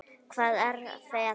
Hvað er feta?